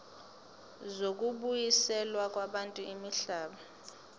zokubuyiselwa kwabantu imihlaba